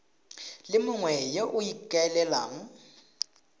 le mongwe yo o ikaelelang